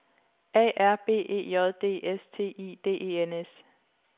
A R B E J D S T I D E N S